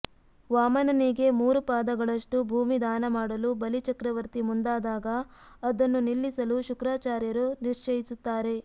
ವಾಮನನಿಗೆ ಮೂರು ಪಾದಗಳಷ್ಟು ಭೂಮಿ ದಾನ ಮಾಡಲು ಬಲಿ ಚಕ್ರವರ್ತಿ ಮುಂದಾದಾಗ ಅದನ್ನು ನಿಲ್ಲಿಸಲು ಶುಕ್ರಾಚಾರ್ಯರು ನಿಶ್ಚಯಿಸುತ್ತಾರೆ